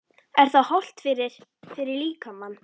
Er það hollt fyrir, fyrir líkamann?